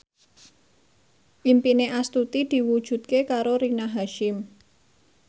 impine Astuti diwujudke karo Rina Hasyim